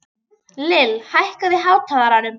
Lill, hækkaðu í hátalaranum.